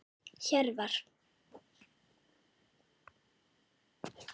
Hjörvar